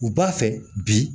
U b'a fɛ bi